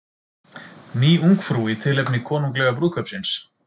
Ný Ungfrú í tilefni konunglega brúðkaupsins